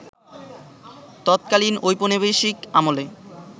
ততকালীন ঔপনিবেশিক আমলে